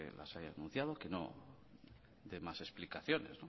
no se haya anunciado que no de más explicaciones